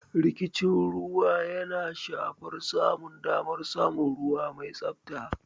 Rikicin ruwa yana shafar samun damar samun ruwa mai tsabta.